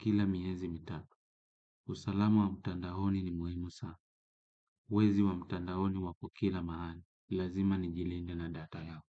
kila miezi mitatu. Usalama wa mtandaoni ni muhimu sana, wezi wa mtandaoni wako kila mahali, lazima nijilinde na data yangu.